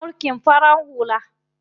Akwai mulkin farar hula.